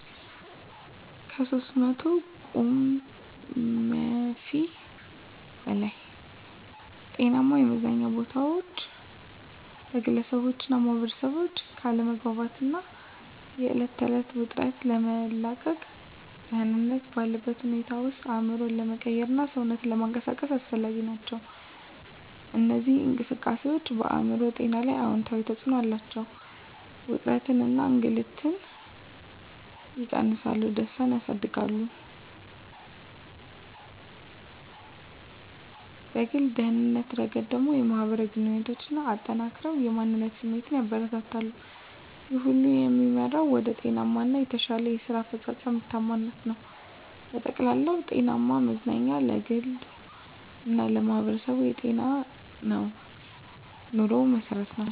(ከ300 ቁምፊ በላይ) ጤናማ የመዝናኛ ቦታዎች ለግለሰቦችና ማኅበረሰቦች ከአለመግባባት እና የዕለት ተዕለት ውጥረት ለመላቀቅ፣ ደህንነት ባለበት ሁኔታ ውስጥ አእምሮን ለመቀየርና ሰውነትን ለመንቀሳቀስ አስፈላጊ ናቸው። እነዚህ እንቅስቃሴዎች በአእምሮ ጤና ላይ አዎንታዊ ተጽዕኖ አላቸው፤ ውጥረትን እና እከግንነትን ይቀንሳሉ፣ ደስታን ያሳድጋሉ። በግል ደህንነት ረገድ ደግሞ፣ የማህበራዊ ግንኙነትን አጠናክረው የማንነት ስሜትን ያበረታታሉ። ይህ ሁሉ የሚመራው ወደ ጤናማ እና የተሻለ የስራ አፈጻጸም (ምርታማነት) ነው። በጠቅላላው፣ ጤናማ መዝናኛ ለግሉ እና ለማህበረሰቡ የጤናማ ኑሮ መሠረት ነው።